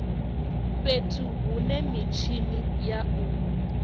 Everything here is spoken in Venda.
fhethu hune mitshini ya u